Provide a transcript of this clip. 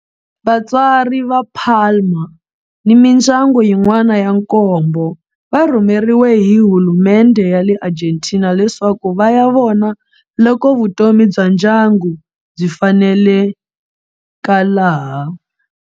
Vatswari va Palma ni mindyangu yin'wana ya nkombo va rhumeriwe hi hulumendhe ya le Argentina leswaku va ya vona loko vutomi bya ndyangu byi faneleka laha.